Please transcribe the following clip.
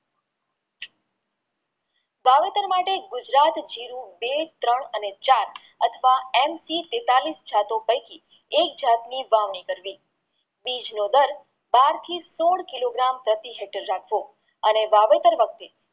વાવેતર માટે ગુજરાત જીરું બેત્રણ અને ચાર અથવા પૈકી એક જાત ની વાવણી કરવી બીજનો દર બારથી સોળ કિલો gram પ્રતિ hektar રાખવો અને વાવેતર